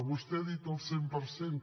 vostè ha dit el cent per cent